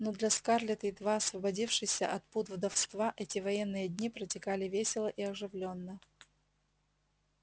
но для скарлетт едва освободившейся от пут вдовства эти военные дни протекали весело и оживлённо